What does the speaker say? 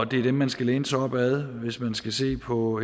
det er den man skal læne sig op ad hvis man skal se på